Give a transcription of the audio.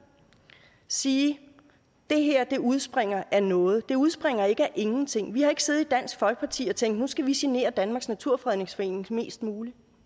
sige at det her udspringer af noget det udspringer ikke af ingenting vi har ikke siddet i dansk folkeparti og tænkt at nu skal vi genere danmarks naturfredningsforening mest muligt